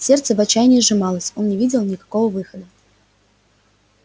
сердце в отчаянии сжималось он не видел никакого выхода